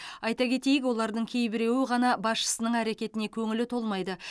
айта кетейік олардың кейбіреуі ғана басшысының әрекетіне көңілі толмайды